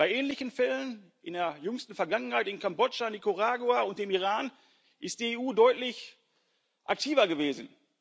Bei ähnlichen Fällen in der jüngsten Vergangenheit in Kambodscha, Nicaragua und dem Iran ist die EU deutlich aktiver gewesen.